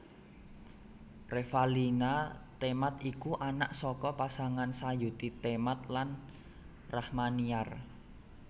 Revalina Temat iku anak saka pasangan Sayuti Temat lan Rachmaniar